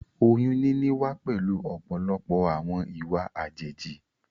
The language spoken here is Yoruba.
Oyún níní wá pẹ̀lú ọ̀pọ̀lọpọ̀ àwọn ìwà àjèjì